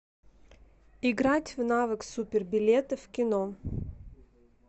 играть в навык супер билеты в кино